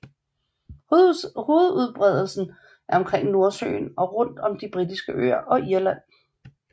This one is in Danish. Hovedudbredelsen er omkring Nordsøen og rundt om de Britiske øer og Irland